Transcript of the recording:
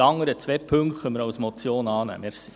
Die anderen zwei Punkte können wir als Motion annehmen.